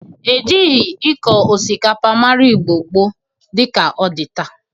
E jịrịgị ịkọ osikapa mara Igbo gboo dị ka ọ dị taa.